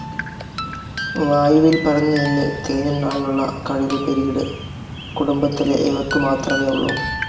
വായുവിൽ പരന്നുനിന്നു തേനുണ്ണാനുള്ള കഴിവു പീരിയഡ്‌ കുടുംബത്തിലെ ഇവയ്ക്കു മാത്രമേ ഉള്ളൂ.